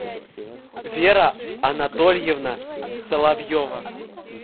вера анатольевна соловьева